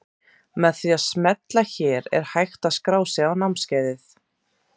Með því að smella hér er hægt að skrá sig á námskeiðið.